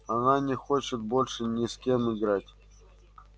она не хочет больше ни с кем играть